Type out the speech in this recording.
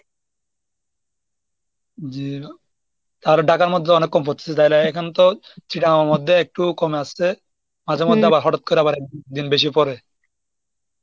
জি আর ঢাকার মধ্যে অনেক কম পড়তেছে তাহলে এখানে তো মধ্যে একটু কমে আসছে মাঝে মধ্যে আবার হঠাৎ করে আবার একদিন বেশি পরে।